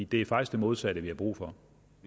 det er faktisk det modsatte vi har brug for